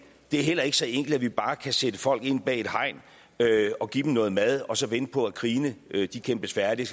er heller ikke så enkelt at vi bare kan sætte folk ind bag et hegn og give dem noget mad og så vente på at krigene kæmpes færdige